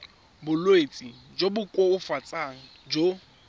bolwetsi jo bo koafatsang jo